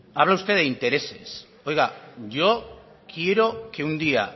habla usted de intereses oiga yo quiero que un día